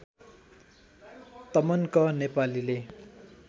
तमन्क नेपालीले